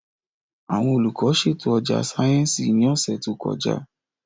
Àwọn olùkọ́ ṣètò ọjà sáyẹ́ǹsì ní ọ̀sẹ̀ tó kọjá